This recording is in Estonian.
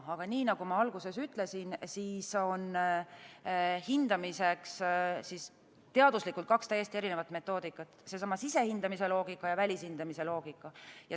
Aga nii nagu ma alguses ütlesin, siis on hindamiseks teaduslikult kaks täiesti erinevat metoodikat: sisehindamise loogika ja välishindamise loogika.